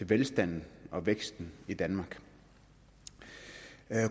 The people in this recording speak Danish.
velstanden og væksten i danmark